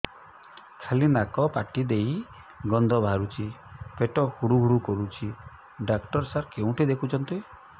ଖାଲି ନାକ ପାଟି ଦେଇ ଗଂଧ ବାହାରୁଛି ପେଟ ହୁଡ଼ୁ ହୁଡ଼ୁ କରୁଛି ଡକ୍ଟର ସାର କେଉଁଠି ଦେଖୁଛନ୍ତ